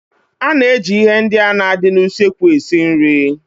A na-eji ihe ndị na-adị n'usekwu esi nri.